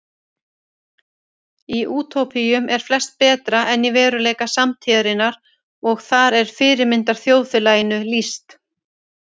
Í útópíum eru flest betra en í veruleika samtíðarinnar og þar er fyrirmyndarþjóðfélaginu lýst.